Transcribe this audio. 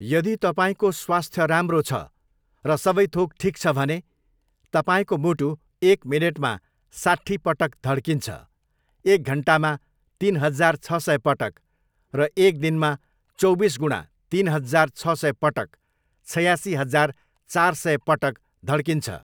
यदि तपाईँको स्वास्थ्य राम्रो छ र सबैथोक ठिक छ भने तपाईँको मुटु एक मिनेटमा साट्ठी पटक धड्किन्छ एक घन्टामा तिन हजार छ सय पटक र एक दिनमा चौबिस गुणा तिन हजार छ सय पटक, छयासी हजार चार सय पटक धड्किन्छ।